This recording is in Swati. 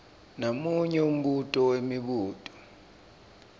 namunye umbuto wemibuto